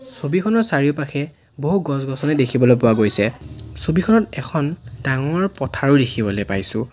ছবিখনৰ চাৰিওপাশে বহু গছ গছনি দেখিবলৈ পোৱা গৈছে ছবিখনত এখন ডাঙৰ পথাৰো দেখিবলৈ পাইছোঁ।